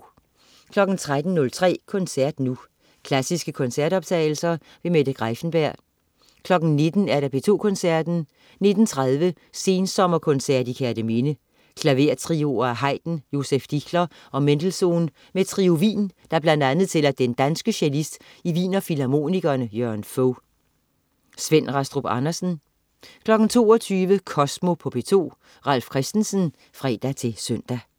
13.03 Koncert nu. Klassiske koncertoptagelser. Mette Greiffenberg 19.00 P2 Koncerten. 19.30 Sensommerkoncert i Kerteminde. Klavertrioer af Haydn, Josef Dichler og Mendelssohn med Trio Wien, der bl.a. tæller den danske cellist i Wiener Filharmonikerne Jørgen Fog. Svend Rastrup Andersen 22.00 Kosmo på P2. Ralf Christensen (fre-søn)